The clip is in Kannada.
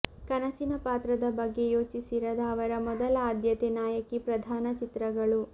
ಕನಸಿನ ಪಾತ್ರದ ಬಗ್ಗೆ ಯೋಚಿಸಿರದ ಅವರ ಮೊದಲ ಆದ್ಯತೆ ನಾಯಕಿ ಪ್ರಧಾನ ಚಿತ್ರಗಳು